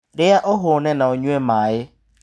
Rĩa ũhũne na ũnyue maĩ.